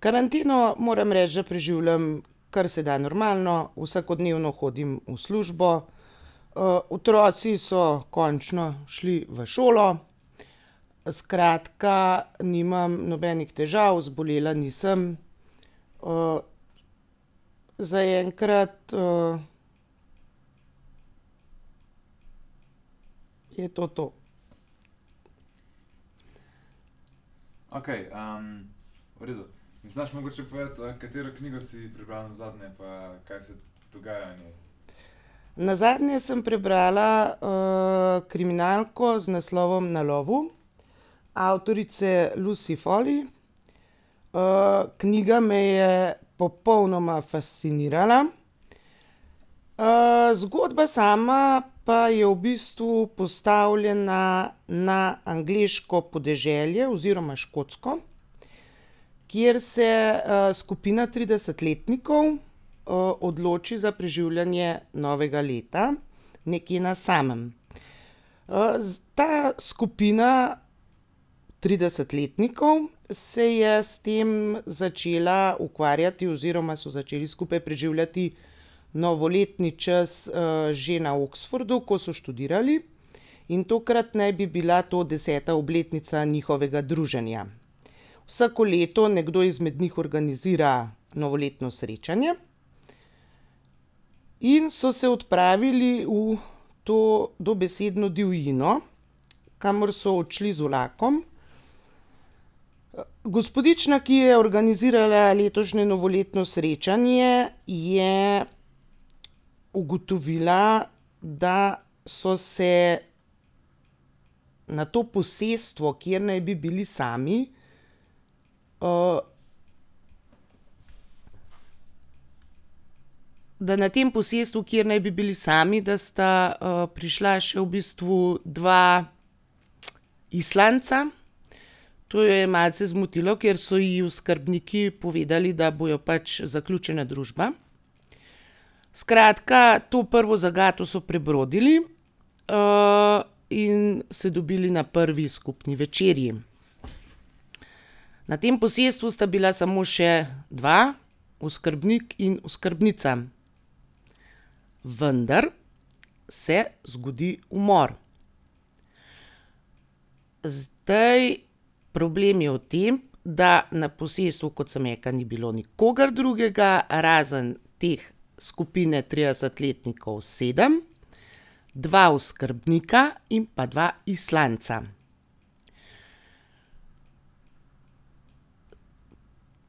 Karanteno moram reči, da preživljam karseda normalno. Vsakodnevno hodim v službo, otroci so končno šli v šolo, skratka, nimam nobenih težav, zbolela nisem, zaenkrat, je to to. Nazadnje sem prebrala, kriminalko z naslovom Na lovu avtorice Lucy Foley. knjiga me je popolnoma fascinirala. zgodba sama pa je v bistvu postavljena na angleško podeželje oziroma škotsko, kjer se, skupina tridesetletnikov, odloči za preživljanje novega leta nekje na samem. ta skupina tridesetletnikov se je s tem začela ukvarjati oziroma so začeli skupaj preživljati novoletni čas, že na Oxfordu, ko so študirali, in tokrat naj bi bila to deseta obletnica njihovega druženja. Vsako leto nekdo izmed njih organizira novoletno srečanje. In so se odpravili v to dobesedno divjino, kamor so odšli z vlakom. gospodična, ki je organizirala letošnje novoletno srečanje, je ugotovila, da so se na to posestvo, kjer naj bi bili sami, da na tem posestvu, kjer naj bi bili sami, da sta, prišla še v bistvu dva Islandca. To jo je malce zmotilo, ker so ji oskrbniki povedali, da bojo pač zaključena družba. Skratka, to prvo zagato so prebrodili, in se dobili na prvi skupni večerji. Na tem posestvu sta bila samo še dva, oskrbnik in oskrbnica. Vendar se zgodi umor. Zdaj, problem je v tem, da na posestvu, kot sem rekla, ni bilo nikogar drugega, razen te skupine tridesetletnikov, sedem, dva oskrbnika in pa dva Islandca.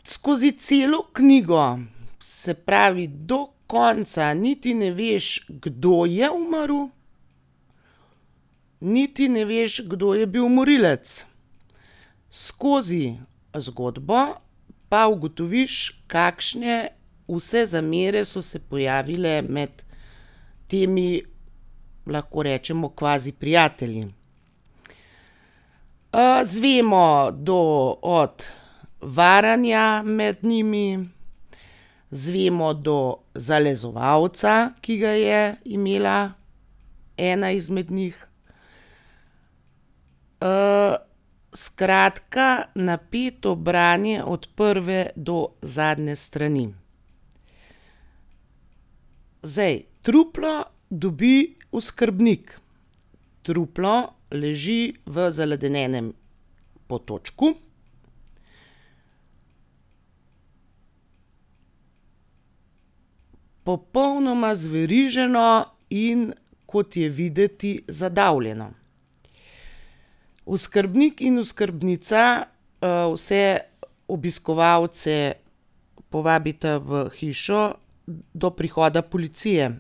Skozi celo knjigo, se pravi do konca niti ne veš, kdo je umrl, niti ne veš, kdo je bil morilec. Skozi zgodbo pa ugotoviš, kakšne vse zamere so se pojavile med temi, lahko rečemo, kvaziprijatelji. izvemo do od varanja med njimi, izvemo do zalezovalca, ki ga je imela ena izmed njih, skratka, napeto branje od prve do zadnje strani. Zdaj, truplo dobi oskrbnik. Truplo leži v zaledenelem potočku. Popolnoma zveriženo, in kot je videti, zadavljeno. Oskrbnik in oskrbnica, vse obiskovalce povabita v hišo do prihoda policije.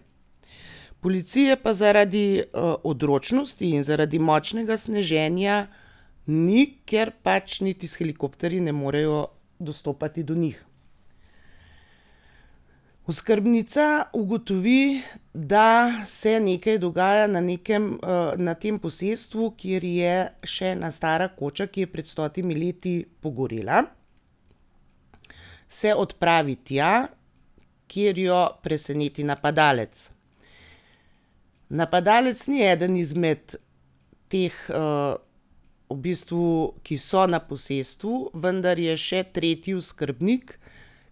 Policije pa zaradi, odročnosti in zaradi močnega sneženja ni, ker pač niti s helikopterji ne morejo dostopati do njih. Oskrbnica ugotovi, da se nekaj dogaja na nekem, na tem posestvu, kjer je še ena stara koča, ki je pred stotimi leti pogorela, se odpravi tja, kjer jo preseneti napadalec. Napadalec ni eden izmed teh, v bistvu, ki so na posestvu, vendar je še tretji oskrbnik,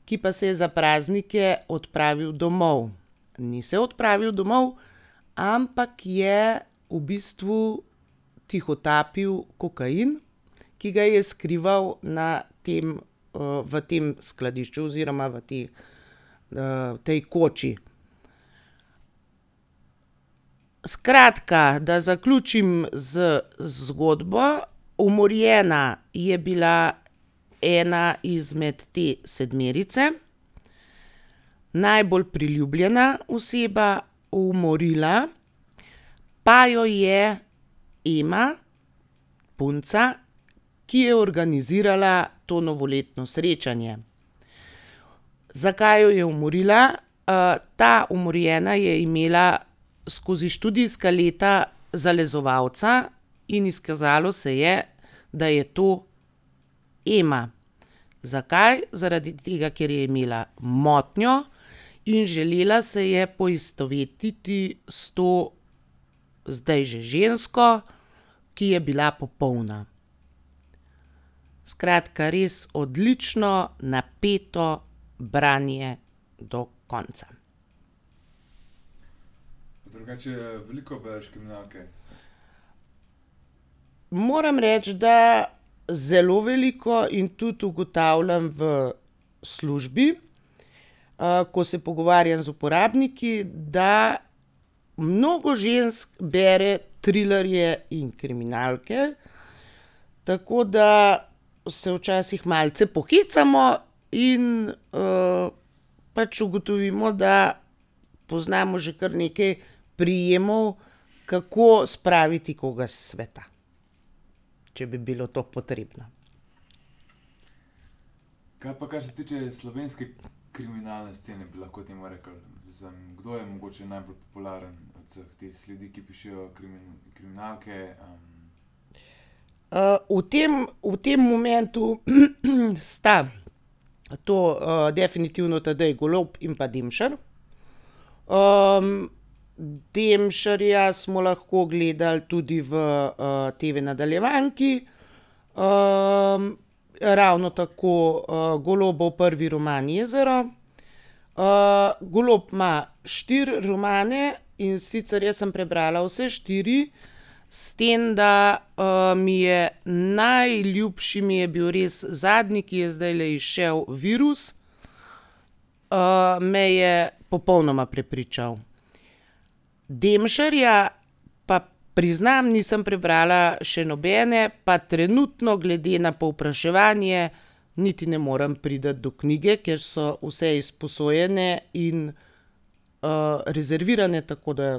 ki pa se je za praznike odpravil domov. Ni se odpravil domov, ampak je v bistvu tihotapil kokain, ki ga je skrival na tem, v tem skladišču oziroma v tej, tej koči. Skratka, da zaključim z zgodbo. Umorjena je bila ena izmed te sedmerice, najbolj priljubljena oseba. Umorila pa jo je Ema, punca, ki je organizirala to novoletno srečanje. Zakaj jo je umorila? ta umorjena je imela skozi študijska leta zalezovalca in izkazalo se je, da je to Ema. Zakaj? Zaradi tega, ker je imela motnjo in želela se je poistovetiti s to zdaj že žensko, ki je bila popolna. Skratka, res odlično, napeto branje do konca. Moram reči, da zelo veliko in tudi ugotavljam v službi, ko se pogovarjam z uporabniki, da mnogo žensk bere trilerje in kriminalke, tako da se včasih malce pohecamo in, pač ugotovimo, da poznamo že kar nekaj prijemov, kako spraviti koga s sveta. Če bi bilo to potrebno. v tem, v tem momentu sta to, definitivno Tadej Golob in pa Demšar. Demšarja smo lahko gledali tudi v, TV-nadaljevanki. ravno tako, Golobov prvi roman Jezero. Golob ima štiri romane, in sicer jaz sem prebrala vse štiri, s tem, da, mi je najljubši mi je bil res zadnji, ki je zdajle izšel, Virus. me je popolnoma prepričal. Demšarja pa priznam, nisem prebrala še nobene, pa trenutno, glede na povpraševanje, niti ne morem priti do knjige, ker so vse izposojene in, rezervirane, tako da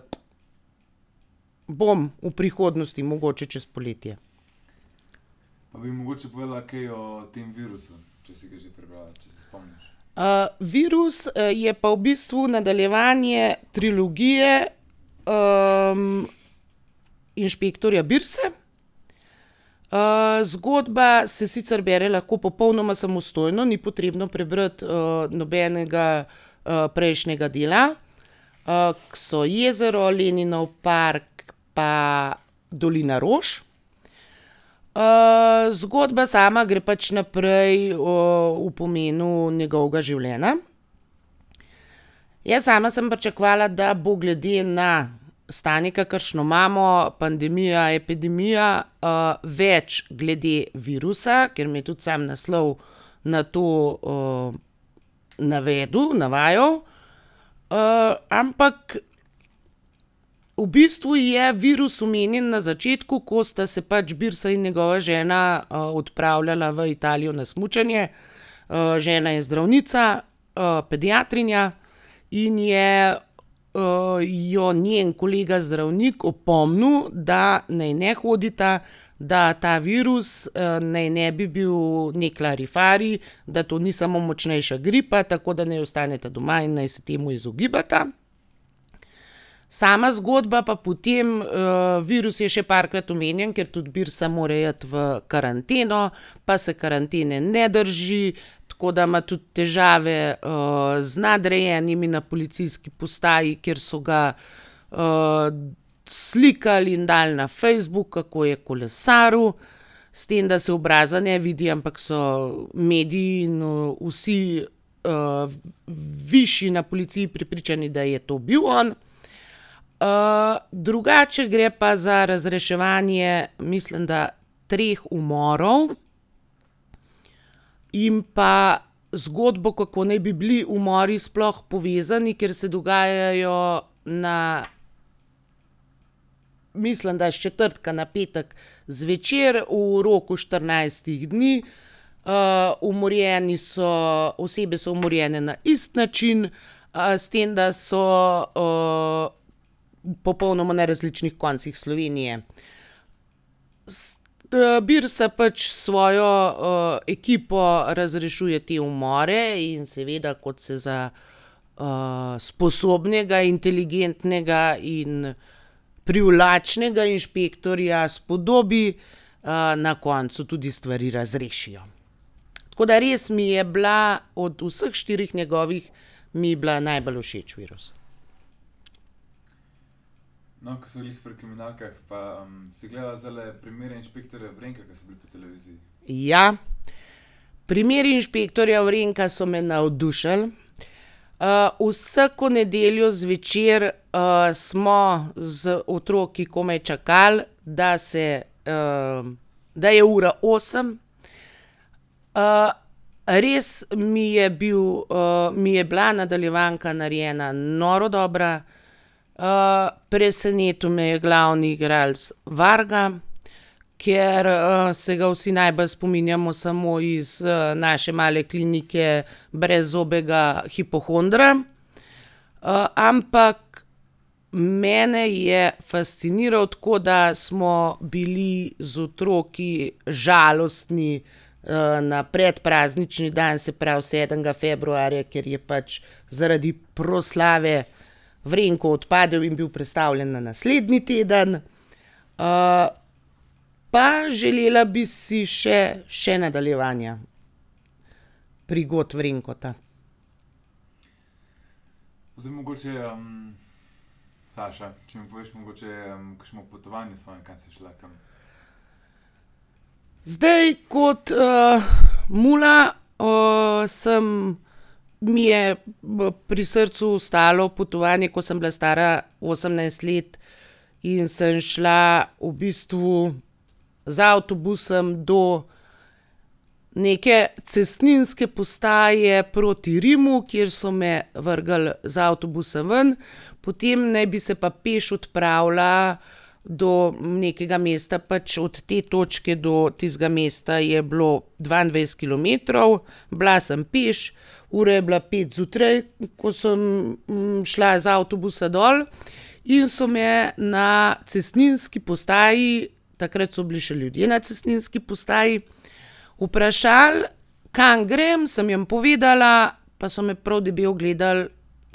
bom v prihodnosti, mogoče čez poletje. Virus, je pa v bistvu nadaljevanje trilogije, inšpektorja Birse. zgodba se sicer bere lahko popolnoma samostojno, ni potrebno prebrati, nobenega, prejšnjega dela, ke so Jezero, Leninov park pa Dolina rož. zgodba sama gre pač naprej, o pomenu njegovega življenja. Jaz sama sem pričakovala, da bo glede na stanje, kakršno imamo, pandemija, epidemija, več glede virusa, ker me je tudi sam naslov na to, navedel, navajal. ampak v bistvu je virus omenjen na začetku, ko sta se pač Birsa in njegova žena, odpravljala v Italijo na smučanje. žena je zdravnica, pediatrinja, in je, jo njen kolega zdravnik opomnil, da naj ne hodita, da ta virus, naj ne bi bil neki larifari, da to ni samo močnejša gripa, tako da naj ostaneta doma in naj se temu izogibata. Sama zgodba pa potem, virus je še parkrat omenjen, ker tudi Birsa more iti v karanteno, pa se karantene ne drži, tako da ima tudi težave, z nadrejenimi na policijski postaji, ker so ga, slikali in dali na Facebook, kako je kolesaril, s tem, da se obraza ne vidi, ampak so mediji in vsi, višji na policiji prepričani, da je to bil on. drugače gre pa za razreševanje mislim, da treh umorov in pa zgodbo, kako naj bi bili umori sploh povezani, ker se dogajajo na, mislim, da s četrtka na petek zvečer v roku štirinajstih dni. umorjeni so, osebe so umorjene na isti način, s tem, da so, popolnoma na različnih koncih Slovenije. Birsa pač s svojo, ekipo razrešuje te umore in seveda, kot se za, sposobnega, inteligentnega in privlačnega inšpektorja spodobi, na koncu tudi stvari razrešijo. Tako da res mi je bila od vseh štirih njegovih, mi je bila najbolj všeč Virus. Ja. Primeri inšpektorja Vrenka so me navdušili, vsako nedeljo zvečer, smo z otroki komaj čakali, da se, da je ura osem. res mi je bil, mi je bila nadaljevanka narejena noro dobra. presenetil me je glavni igralec Varga, ker, se ga vsi najbolj spominjamo samo iz, Naše male klinike, brezzobega hipohondra. ampak mene je fasciniral, tako da smo bili z otroki žalostni, na predpraznični dan, se pravi sedmega februarja, ker je pač zaradi proslave Vrenko odpadel in je bil prestavljen na naslednji teden. pa želela bi si še še nadaljevanja prigod Vrenka. Zdaj, kot, mula, sem, mi je pri srcu ostalo potovanje, ko sem bila stara osemnajst let in sem šla v bistvu z avtobusom do neke cestninske postaje proti Rimu, kjer so me vrgli z avtobusa ven, potem naj bi se pa peš odpravila do nekega mesta, pač od te točke do tistega mesta je bilo dvaindvajset kilometrov. Bila sem peš, ura je bila pet zjutraj, ko sem, šla z avtobusa dol. In so me na cestninski postaji, takrat so bili še ljudje na cestninski postaji, vprašali, kam grem, sem jim povedala, pa so me prav debelo gledali,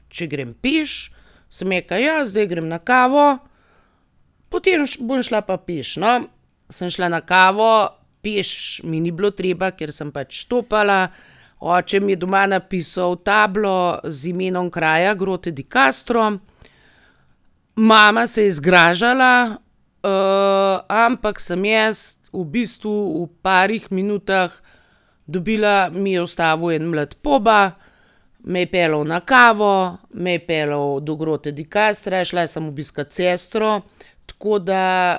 če grem peš. Sem rekla: "Ja, zdaj grem na kavo, potem bom šla pa peš." No, sem šla na kavo, peš mi ni bilo teba, ker sem pač štopala. Oče mi je doma napisal tablo z imenom kraja, Grotte di Castro, mama se je zgražala, ampak sem jaz v bistvu v parih minutah dobila, mi je ustavil en mlad poba, me je peljal na kavo, me je peljal do Grotte di Castra, šla sem obiskat sestro. Tako da,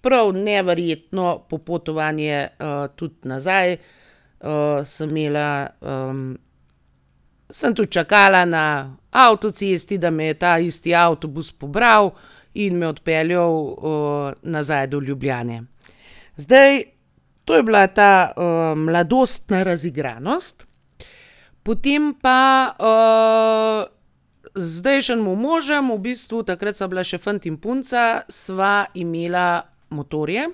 prav neverjetno popotovanje, tudi nazaj, sem imela, Sem tudi čakala na avtocesti, da me je ta isti avtobus pobral in me odpeljal, nazaj do Ljubljane. Zdaj, to je bila ta, mladostna razigranost, potem pa, z zdajšnjim možem, v bistvu takrat sva bila še fant in punca, sva imela motorje,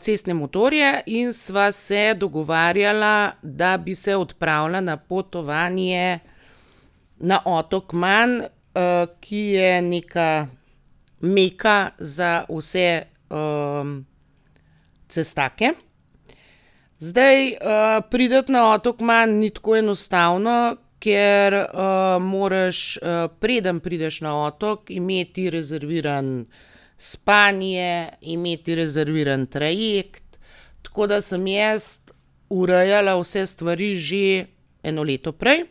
cestne motorje, in sva se dogovarjala, da bi se odpravila na potovanje na otok Man, ki je neka meka za vse, cestake. Zdaj, priti na otok Man ni tako enostavno, ker, moraš, preden prideš na otok, imeti rezervirano spanje, imeti rezerviran trajekt. Tako da sem jaz urejala vse stvari že eno leto prej.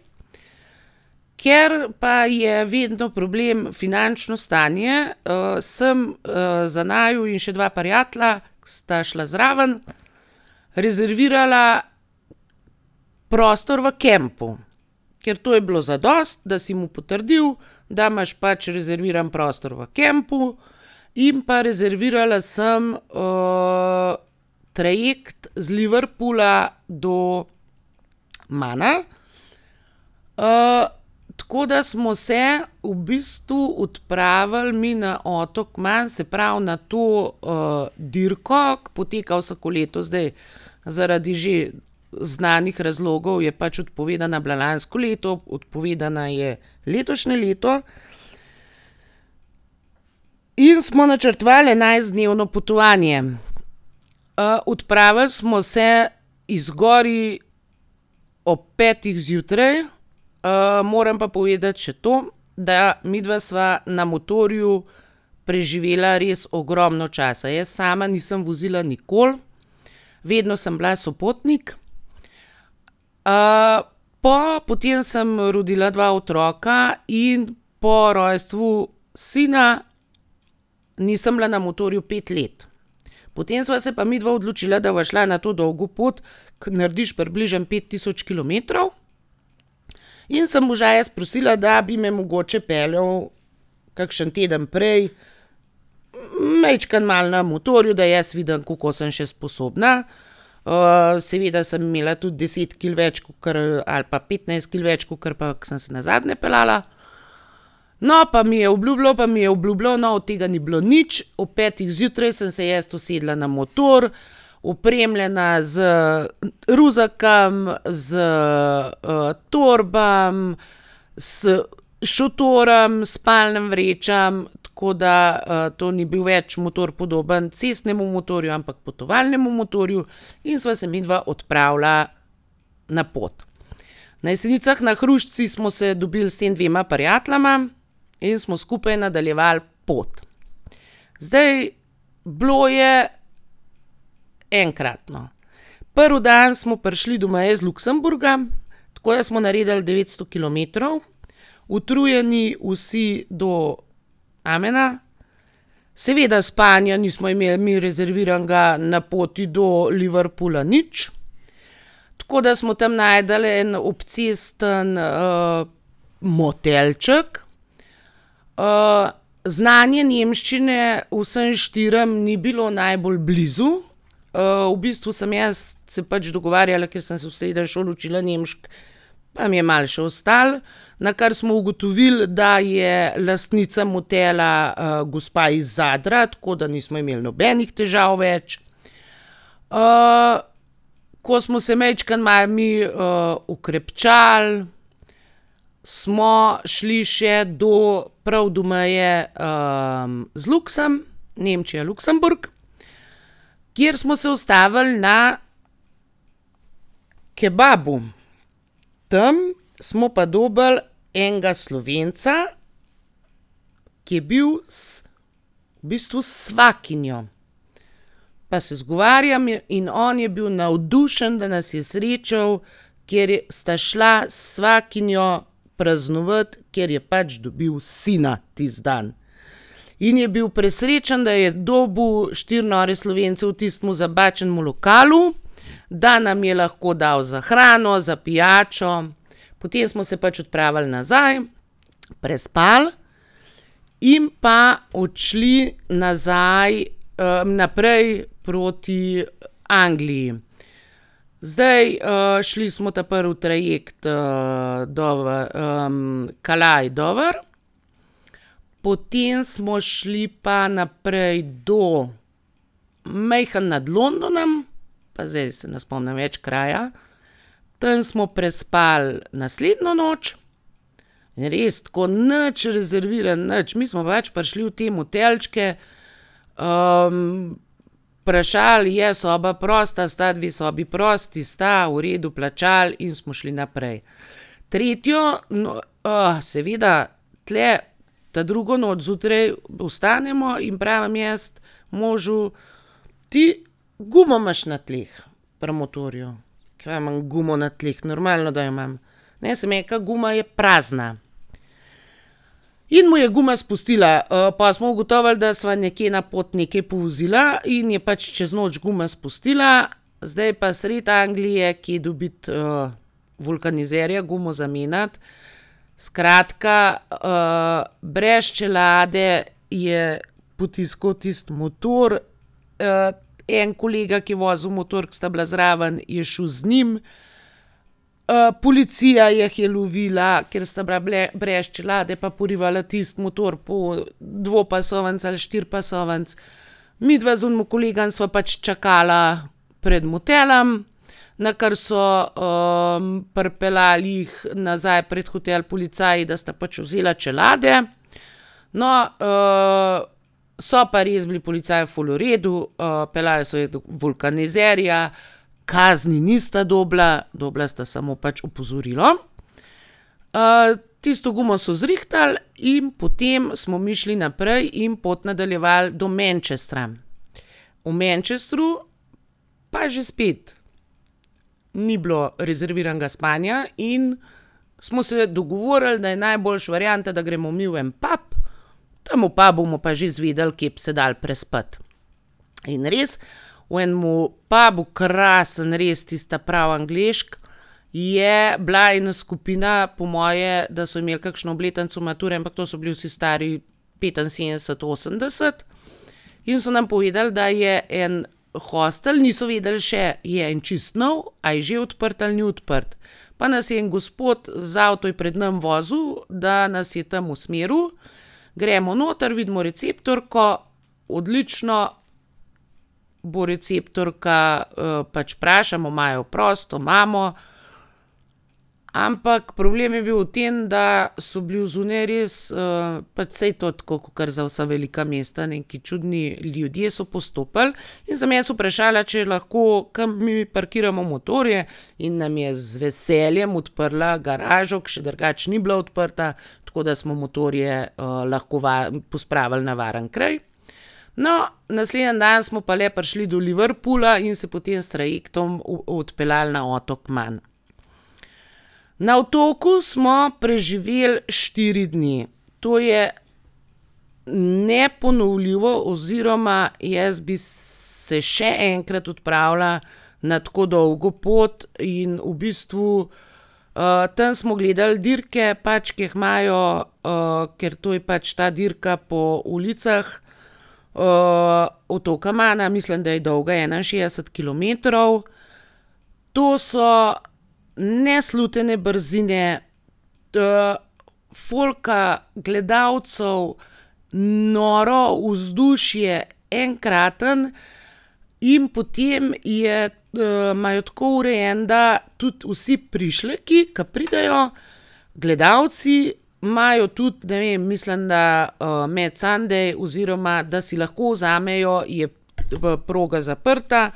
Ker pa je vedno problem finančno stanje, sem, za naju in še dva prijatelja, ke sta šla zraven, rezervirala prostor v kampu. Ker to je bilo zadosti, da si mu potrdil, da imaš pač rezerviran prostor v kampu, in pa rezervirala sem, trajekt z Liverpoola do Mana. tako da smo se v bistvu odpravili mi na otok Man, se pravi, na to, dirko, ke poteka vsako leto, zdaj zaradi že znanih razlogov je pač odpovedana bila lansko leto, odpovedana je letošnje leto. In smo načrtovali enajstdnevno potovanje. odpravili smo se iz Gorij ob petih zjutraj. moram pa povedati še to, da midva sva na motorju preživela res ogromno časa. Jaz sama nisem vozila nikoli, vedno sem bila sopotnik. potem sem rodila dva otroka in po rojstvu sina nisem bila na motorju pet let. Potem sva se pa midva odločila, da bova šla na to dolgo pot, ke narediš približno pet tisoč kilometrov, in sem moža jaz prosila, da bi me mogoče peljal kakšen teden prej majčkeno malo na motorju, da jaz vidim, kako sem še sposobna. seveda sem imela tudi deset kil več, kakor, ali pa petnajst kil več, kakor pa ko sem se nazadnje peljala. No, pa mi je obljubljal, pa mi je obljubljal. No, od tega ni bilo nič, ob petih zjutraj sem se jaz usedla na motor, opremljena z ruzakom, s, torbami, s šotorom, s spalnimi vrečami, tako da, to ni bil več motor, podoben cestnemu motorju, ampak potovalnemu motorju, in sva se midva odpravila na pot. Na Jesenicah, na Hrušici smo se dobili s tema dvema prijateljema in smo skupaj nadaljevali pot. Zdaj, bilo je enkratno. Prvi dan smo prišli do meje z Luksemburgom, tako da smo naredili devetsto kilometrov. Utrujeni vsi do amena. Seveda spanja nismo imeli mi rezerviranega na poti do Liverpoola nič, tako da smo tam našli en obcestni, motelček. znanje nemščine vsem štirim ni bilo najbolj blizu, v bistvu sem jaz se pač dogovarjala, ker sem se v srednji šoli učila nemško, pa mi je malo še ostalo. Nakar smo ugotovili, da je lastnica motela, gospa iz Zadra, tako da nismo imeli nobenih težav več. ko smo se majčkeno malo mi, okrepčali, smo šli še do, prav do meje, z Nemčija-Luksemburg, kjer smo se ustavili na kebabu. Tam smo pa dobili enega Slovenca, ki je bil v bistvu s svakinjo. Pa se zgovarjam in on je bil navdušen, da nas je srečal, ker sta šla s svakinjo praznovati, ker je pač dobil sina tisti dan. In je bil presrečen, da je dobil štiri nore Slovence v tistem zabačenem lokalu, da nam je lahko dal za hrano, za pijačo. Potem smo se pač odpravili nazaj, prespali in pa odšli nazaj, naprej proti Angliji. Zdaj, šli smo ta prvi trajekt, Calais-Dover. Potem smo šli pa naprej do malo nad Londonom, pa zdaj se ne spomnim več kraja. Tam smo prespali naslednjo noč. In res, tako, nič rezerviran, nič. Mi smo pač prišli v te motelčke, vprašali: "Je soba prosta, sta dve sobi prosti?" "Sta." "V redu." Plačali in smo šli naprej. Tretjo seveda, tule ta drugo noč, zjutraj vstanemo in pravim jaz možu: "Ti, gumo imaš na tleh. Pri motorju." "Kaj imam gumo na tleh? Normalno, da jo imam." "Ne," sem rekla. "Guma je prazna." In mu je guma spustila. pol smo ugotovili, da sva nekje na pot nekaj povozila in je pač čez noč guma spustila, zdaj pa sredi Anglije kje dobiti, vulkanizerja, gumo zamenjati? Skratka, brez čelade je potiskal tisti motor, en kolega, ke je vozil motor, ke sta bila zraven, je šel z njim, policija ju je lovila, ker sta bila brez čelade pa porivala tisti motor po dvopasovnici ali štiripasovnici. Midva z onim kolegom sva pač čakala pred motelom, nakar so, pripeljali jih nazaj pred hotel policaji, da sta pač vzela čelade. No, so pa res bili policaji ful v redu, peljali so jih do vulkanizerja, kazni nista dobila, dobila sta samo pač opozorilo. tisto gumo so zrihtali in potem smo mi šli naprej in pot nadaljevali do Manchestra. V Manchestru pa že spet. Ni bilo rezerviranega spanja in smo se dogovorili, da je najboljša varianta, da gremo mi v en pub, tam v pubu bomo pa že izvedeli, kje bi se dalo prespati. In res, v enem pabu, krasno res, tisti ta pravi angleški, je bila ena skupina, po moje, da so imeli kakšno obletnico mature, ampak to so bili vsi stari petinsedemdeset, osemdeset, in so nam povedali, da je en hostel, niso vedeli še, je en čisto nov, a je že odprt ali ni odprt. Pa nas je en gospod, z avtom je pred nam vozil, da nas je tam usmeril, gremo noter, vidimo receptorko. Odlično. Bo receptorka, pač vprašamo: "Imajo prosto?" "Imamo." Ampak problem je bil v tem, da so bili odzunaj res, pač saj to tako, kakor za vsa velika mesta, neki čudni ljudje so postopali. In sem jaz vprašala, če lahko kam mi parkiramo motorje, in nam je z veseljem odprla garažo, ker še drugače ni bila odprta, tako da smo motorje, lahko pospravili na varen kraj. No, naslednji dan smo pa le prišli do Liverpoola in se potem s trajektom odpeljali na otok Man. Na otoku smo preživeli štiri dni. To je neponovljivo oziroma jaz bi se še enkrat odpravila na tako dolgo pot in v bistvu, tam smo gledali dirke, pač ke jih imajo, ker to je pač ta dirka po ulicah, otoka Mana. Mislim, da je dolga enainšestdeset kilometrov. To so neslutene brzine, folka, gledalcev, noro vzdušje, enkratno. In potem je, imajo tako urejen, da tudi vsi prišleki, ke pridejo, gledalci, imajo tudi, ne vem, mislim, da, mad Sunday oziroma da si lahko vzamejo, je, proga zaprta,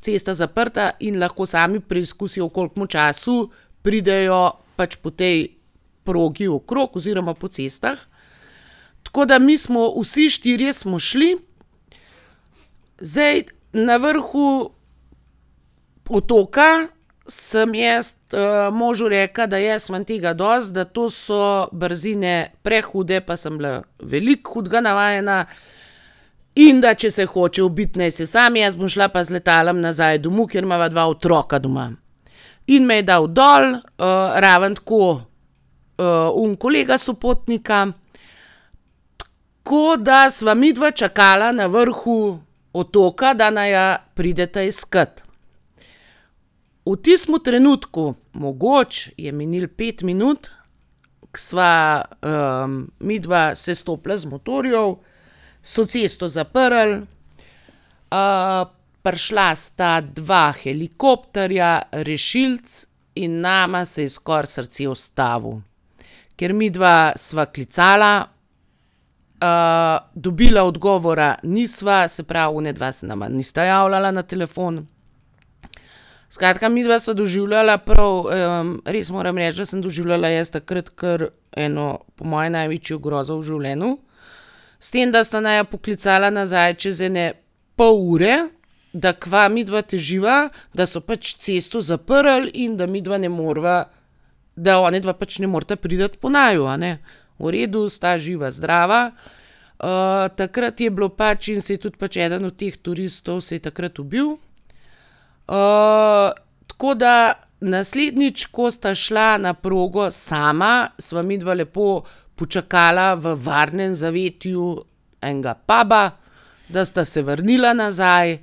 cesta zaprta, in lahko sami preizkusijo, v kolikem času pridejo pač po tej progi okrog oziroma po cestah. Tako da mi smo, vsi štirje smo šli. Zdaj, na vrhu otoka sem jaz, možu rekla, da jaz imam tega dosti, da to so brzine prehude, pa sem bila veliko hudega navajena, in da če se hoče ubiti, naj se sam, jaz bom šla pa z letalom nazaj domov, ker imava dva otroka doma. In me je dal dol, ravno tako, oni kolega sopotnika, tako da sva midva čakala na vrhu otoka, da naju prideta iskat. V tistem trenutku, mogoče je minilo pet minut, ke sva, midva sestopila z motorjev, so cesto zaprli, prišla sta dva helikopterja, rešilec in nama se je skoraj srce ustavilo. Ker midva sva klicala, dobila odgovora nisva, se pravi onadva se nama nista javljala na telefon, skratka, midva sva doživljala prav, res moram reči, da sem doživljala jaz takrat kar eno po moje največjo grozo v življenju. S tem, da sta naju poklicala nazaj čez ene pol ure, da kaj midva teživa, da so pač cesto zaprli in da midva ne moreva, da onadva pač ne moreta priti po naju, a ne. V redu, sta živa, zdrava. takrat je bilo pač, in se je tudi pač eden od teh turistov se je takrat ubil. tako da naslednjič, ko sta šla na progo sama, sva midva lepo počakala v varnem zavetju enega puba, da sta se vrnila nazaj.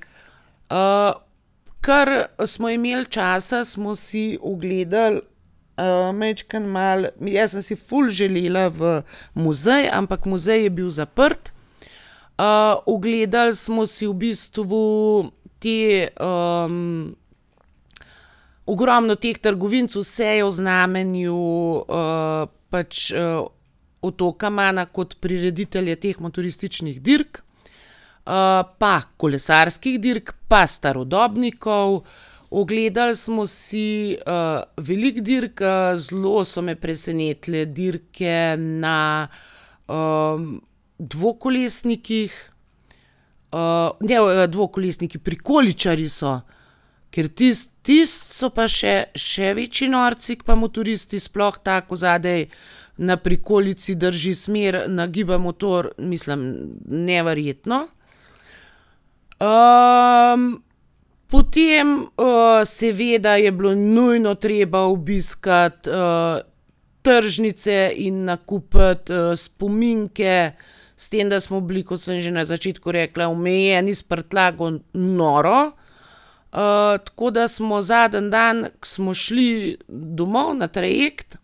ker smo imeli časa, smo si ogledali, majčkeno malo, jaz sem si ful želela v muzej, ampak muzej je bil zaprt. ogledali smo si v bistvu te, ogromno teh trgovinic, vse je v znamenju, pač, otoka Mana kot prireditelja teh motorističnih dirk, pa kolesarskih dirk pa starodobnikov. Ogledali smo si, veliko dirk, zelo so me presenetile dirke na, dvokolesnikih. ne, dvokolesniki, prikoličarji so. Ker tisti, tisti so pa še, še večji norci ke pa motoristi, sploh ta, ko zadaj na prikolici drži smer, nagiba motor. Mislim, neverjetno. potem, seveda je bilo nujno treba obiskati, tržnice in nakupiti, spominke, s tem, da smo bili, kot sem že na začetku rekla, omejeni s prtljago noro. tako da smo zadnji dan, ke smo šli domov, na trajekt,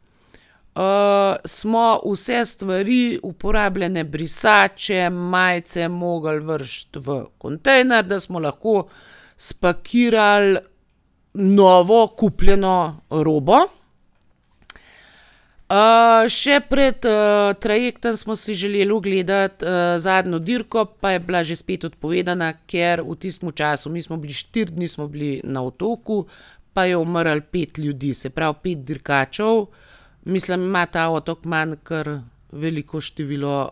smo vse stvari, uporabljene brisače, majice, mogli vreči v kontejner, da smo lahko spakirali novo kupljeno robo. še pred, trajektom smo si želeli ogledati, zadnjo dirko, pa je bila že spet odpovedana, ker v tistem času, mi smo bili, štiri dni smo bili na otoku, pa je umrlo pet ljudi, se pravi pet dirkačev. Mislim, ima ta otok Man kar veliko število,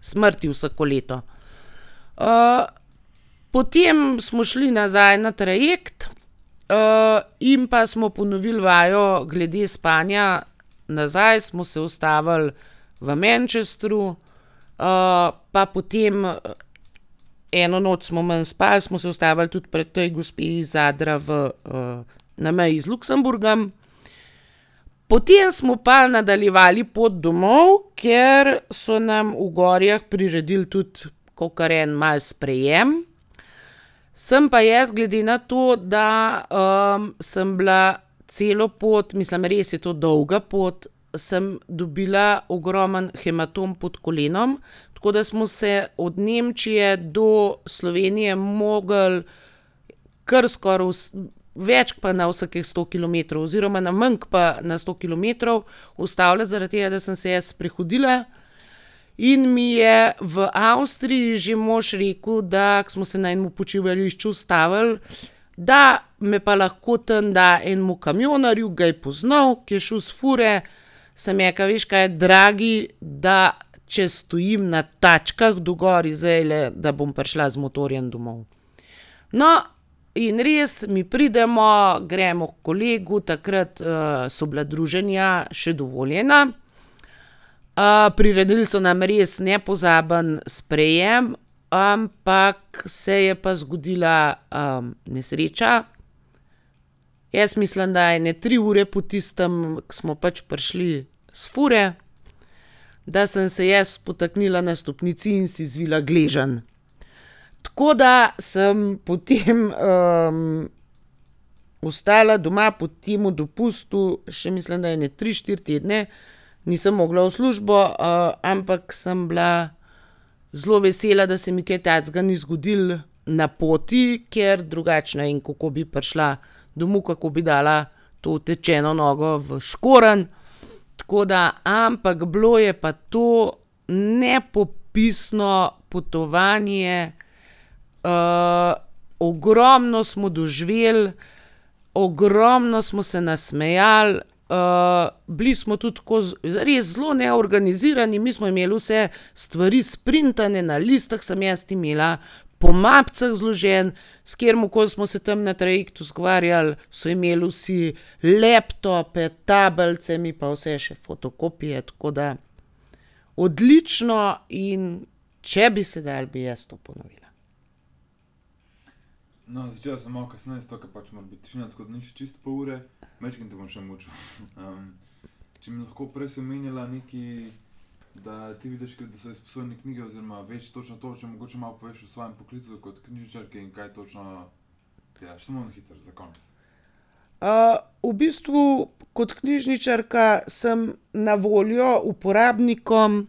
smrti vsako leto. potem smo šli nazaj na trajekt, in pa smo ponovili vajo glede spanja nazaj, smo se ustavili v Manchestru, pa potem, eno noč smo manj spali, smo se ustavili tudi pri tej gospe iz Zadra v, na meji z Luksemburgom. Potem smo pa nadaljevali pot domov, ker so nam v Gorjah priredili tudi kakor en malo sprejem. Sem pa jaz, glede na to, da, sem bila celo pot, mislim, res je to dolga pot, sem dobila ogromen hematom pod kolenom, tako da smo se od Nemčije do Slovenije mogli kar skoraj več ke pa na vsakih sto kilometrov oziroma na manj ke pa na sto kilometrov ustavljati zaradi tega, da sem se jaz sprehodila, in mi je v Avstriji že mož rekel, da, ke smo se na enemu počivališču ustavili, da me pa lahko tam da enemu kamionarju, ga je poznal, ke je šel s fure. Sem rekla: "Veš kaj, dragi, da če stojim na tačkah do Gorij zdajle, da bom prišla z motorjem domov." No, in res, mi pridemo, gremo h kolegu. Takrat, so bila druženja še dovoljena. priredili so nam res nepozaben sprejem, ampak se je pa zgodila, nesreča. Jaz mislim, da ene tri ure po tistem, ke smo pač prišli s fure, da sem se jaz spotaknila na stopnici in si zvila gleženj. Tako da sem potem, ostala doma po temu dopustu še, mislim, da ene tri, štiri tedne, nisem mogla v službo, ampak sem bila zelo vesela, da se mi kaj takega ni zgodilo na poti, ker drugače ne vem, kako bi prišla domov, kako bi dala to otečeno nogo v škorenj. Tako da, ampak bilo je pa to nepopisno potovanje, ogromno smo doživeli, ogromno smo se nasmejali, bili smo tudi tako res zelo neorganizirani, mi smo imeli vse stvari sprintane, na listih sem jaz imela po mapicah zloženo. S kateremu koli smo se tam na trajektu zgovarjali, so imeli vsi laptope, tablice, mi pa vse še fotokopije, tako da odlično, in če bi se dalo, bi jaz to ponovila. v bistvu kot knjižničarka sem na voljo uporabnikom,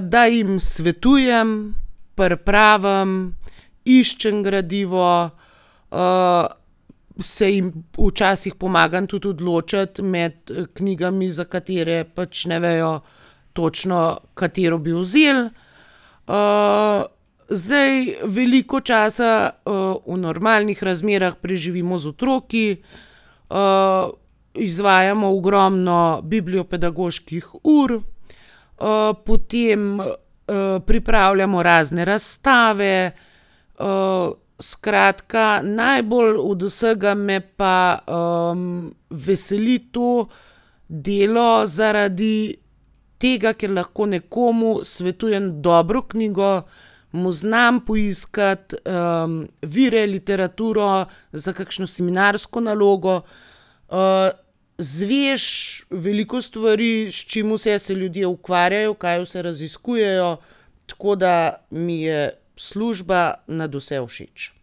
da jim svetujem, pripravim, iščem gradivo, se jim včasih pomagam tudi odločiti med, knjigami, za katere pač ne vejo točno, katero bi vzeli. zdaj, veliko časa, v normalnih razmerah preživimo z otroki, izvajamo ogromno bibliopedagoških ur, potem pripravljamo razne razstave. skratka, najbolj od vsega me pa, veseli to delo zaradi tega, ker lahko nekomu svetujem dobro knjigo, mu znam poiskati, vire, literaturo za kakšno seminarsko nalogo. izveš veliko stvari, s čim vse se ljudje ukvarjajo, kaj vse raziskujejo. Tako da mi je služba nadvse všeč.